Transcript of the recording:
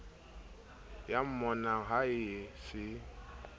ya mmonang ha a se